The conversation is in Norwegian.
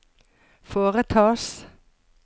foretas